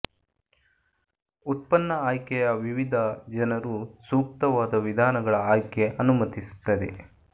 ಉತ್ಪನ್ನ ಆಯ್ಕೆಯ ವಿವಿಧ ಜನರು ಸೂಕ್ತವಾದ ವಿಧಾನಗಳ ಆಯ್ಕೆ ಅನುಮತಿಸುತ್ತದೆ